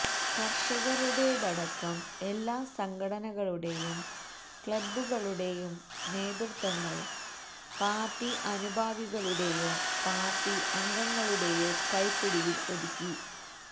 കർഷകരുടേതടക്കം എല്ലാ സംഘടനകളുടെയും ക്ലബ്ബുകളുടെയും നേതൃത്ത്വങ്ങൾ പാർട്ടി അനുഭാവികളുടെയോ പാർട്ടി അംഗങ്ങളുടെയോ കൈപ്പിടിയിൽ ഒതുക്കി